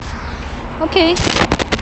окей